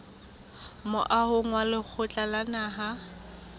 moahong wa lekgotla la naha